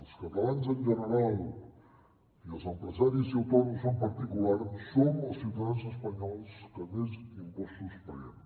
els catalans en general i els empresaris i autònoms en particular som els ciutadans espanyols que més impostos paguem